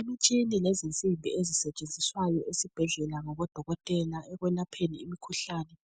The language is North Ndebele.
Umutshina lezinsimbi ezisetshenziswayo esibhedlela ngabodokotela ekwelapheni imikhuhlane